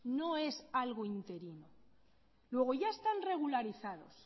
no es algo interino luego ya están regularizados